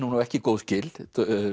ekki góð skil